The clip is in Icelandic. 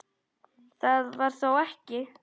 Það var þó ekki.?